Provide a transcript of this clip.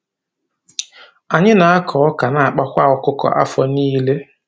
Anyị na-akọ ọkà nakpakwa ọkụkọ afọ niile.